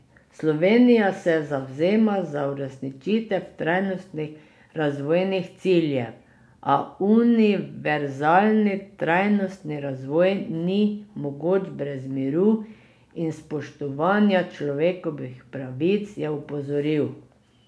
Slovenija se zavzema za uresničitev trajnostnih razvojnih ciljev, a univerzalni trajnostni razvoj ni mogoč brez miru in spoštovanja človekovih pravic, je opozoril.